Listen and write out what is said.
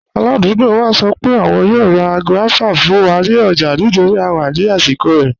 Aládùgbò wa sọ pé àwọn yòò rá guavas kàn fún wa ní ọ̀jà nítorí à wà ní àsìkò rẹ̀.